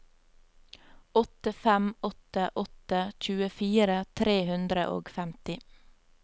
åtte fem åtte åtte tjuefire tre hundre og femti